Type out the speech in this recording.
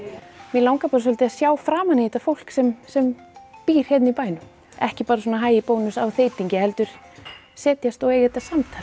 mig langar bara svolítið að sjá framan í þetta fólk sem sem býr hérna í bænum ekki bara svona hæ í Bónus á þeytingi heldur setjast og eiga þetta samtal